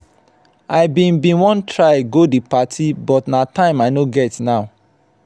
i bin bin wan try go the birthday but na time i no get now.